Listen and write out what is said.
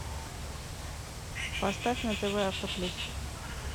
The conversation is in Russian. поставь на тв авто плюс